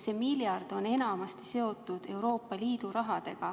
See miljard on enamasti seotud Euroopa Liidu rahaga.